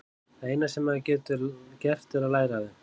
Það eina sem maður getur gert er að læra af þeim.